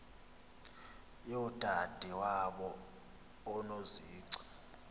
yodade wabo unozici